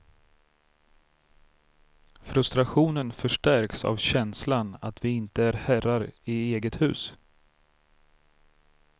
Frustrationen förstärks av känslan att vi inte är herrar i eget hus.